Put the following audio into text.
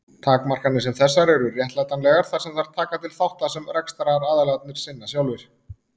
Takmarkanir sem þessar eru réttlætanlegar þar sem þær taka til þátta sem rekstraraðilarnir sinna sjálfir.